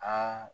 Aa